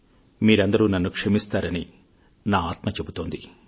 మీరందరూ నన్ను క్షమిస్తారని నా ఆత్మ చెబుతోంది